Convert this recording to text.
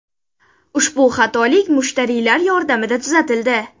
Ushbu xatolik mushtariylar yordamida tuzatildi.